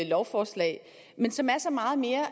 lovforslag men som er så meget mere